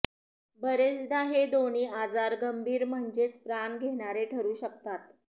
बरेचदा हे दोन्ही आजार गंभीर म्हणजेच प्राण घेणारे ठरू शकतात